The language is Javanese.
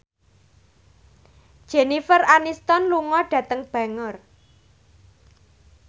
Jennifer Aniston lunga dhateng Bangor